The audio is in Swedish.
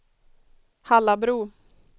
Hallabro